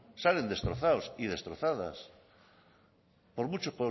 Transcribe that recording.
salen destrozados y destrozadas por mucho